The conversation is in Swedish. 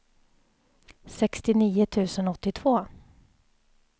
sextionio tusen åttiotvå